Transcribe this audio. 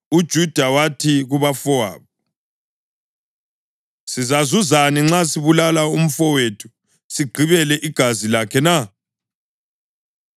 UJuda wathi kubafowabo, “Sizazuzani nxa sibulala umfowethu sigqibele igazi lakhe na?